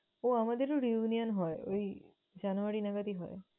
ও আমাদেরও reunion হয় এই জানুয়ারী নাগাদই হয়।